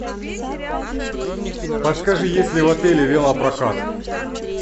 подскажи есть ли в отеле велопрокат